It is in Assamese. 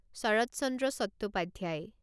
শৰত চন্দ্ৰ চট্টোপাধ্যায়